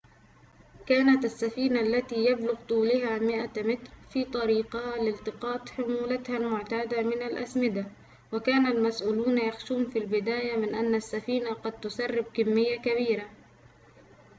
كانت السفينة التي يبلغ طولها 100 متر في طريقها لالتقاط حمولتها المعتادة من الأسمدة وكان المسؤولون يخشون في البداية من أن السفينة قد تسرب كمية كبيرة